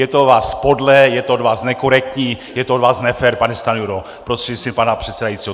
Je to od vás podlé, je to od vás nekorektní, je to od vás nefér, pane Stanjuro prostřednictvím pana předsedajícího!